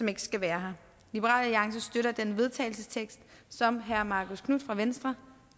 ikke skal være her liberal alliance støtter den vedtagelsestekst som herre marcus knuth fra venstre